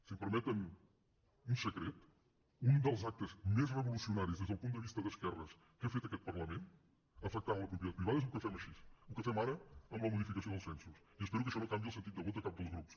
si em permeten un secret un dels actes més revolucionaris des del punt de vista d’esquerres que ha fet aquest parlament afectant la propietat privada és el que fem així el que fem ara amb la modificació dels censos i espero que ai xò no canviï el sentit de vot de cap dels grups